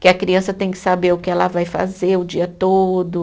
Que a criança tem que saber o que ela vai fazer o dia todo.